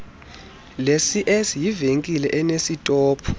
lecs yivenkile enesitophu